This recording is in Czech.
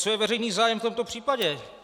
Co je veřejný zájem v tomto případě?